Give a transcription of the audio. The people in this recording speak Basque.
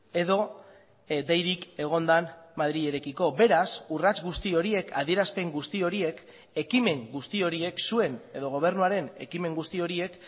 edo deirik egon den madrilerekiko beraz urrats guzti horiek adierazpen guzti horiek ekimen guzti horiek zuen edo gobernuaren ekimen guzti horiek